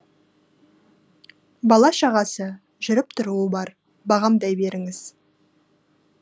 бала шағасы жүріп тұруы бар бағамдай беріңіз